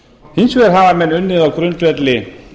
hins vegar hafa menn unnið á grundvelli